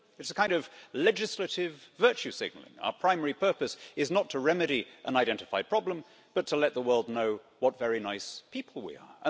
It is a kind of legislative virtue signalling. Our primary purpose is not to remedy and identify a problem, but to let the world know what very nice people we are.